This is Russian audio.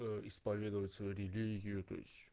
исповедовать свою религию